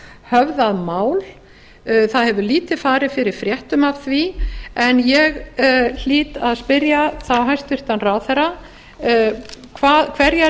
höfðað mál það hefur lítið farið fyrir fréttum af því en ég hlýt að spyrja þá hæstvirtur ráðherra hverjar